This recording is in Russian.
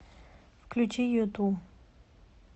включи юту